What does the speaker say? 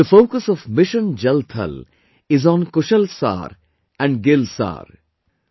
The focus of "Mission Jal Thal" is on "Kushal Saar" and "Gil Saar"